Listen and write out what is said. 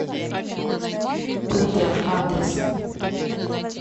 пудра адрес